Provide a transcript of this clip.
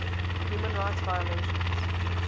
human rights violations